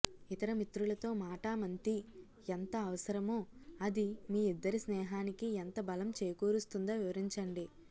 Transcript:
ఇతర మిత్రులతో మాటామంతీ ఎంత అవసరమో అది మీ ఇద్దరి స్నేహానికి ఎంత బలం చేకూరుస్తుందో వివరించండి